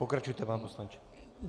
Pokračujte, pane poslanče.